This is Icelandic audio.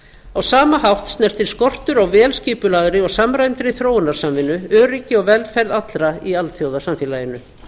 á sama hátt snertir skortur á vel skipulagðri og samræmdri þróunarsamvinnu öryggi og velferð allra í alþjóðasamfélaginu